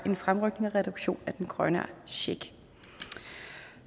fremrykke en reduktion af den grønne check